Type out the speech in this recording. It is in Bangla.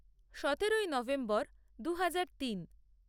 সতেরোই নভেম্বর দুহাজার তিন